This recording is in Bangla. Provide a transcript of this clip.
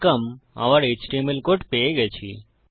ওউর এচটিএমএল কোড পেয়ে গেছি